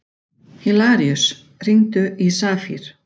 Hilaríus, hringdu í Safír.